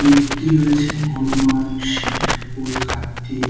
মূর্তি রয়েছে হনুমান শিব ঠাকুর কার্তি--